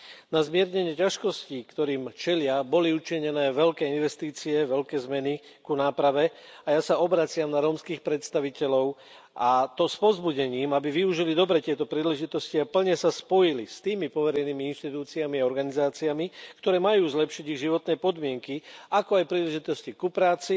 Na zmiernenie ťažkostí, ktorým čelia, boli učinené veľké investície, veľké zmeny ku náprave a ja sa obraciam na rómskych predstaviteľov, a to s povzbudením, aby tieto príležitosti dobre využili a plne sa spojili s tými poverenými inštitúciami a organizáciami, ktoré majú zlepšiť ich životné podmienky, ako aj príležitosti ku práci,